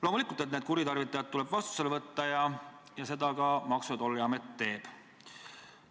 Loomulikult tuleb need kuritarvitajad vastutusele võtta ja seda Maksu- ja Tolliamet ka teeb.